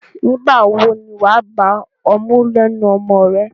Nígbà wo ni wà á gba ọmú lẹ́nu ọmọ rẹ?